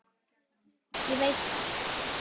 Ég veit þetta.